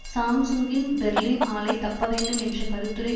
சாம்சுங்கின் Berlin ஆலை தப்ப வேண்டும் என்ற கருத்துரை